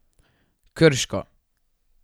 Krško.